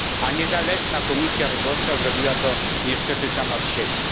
A niezależna Komisja Wyborcza zrobiła to niestety sama z siebie.